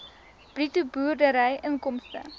bruto boerdery inkomste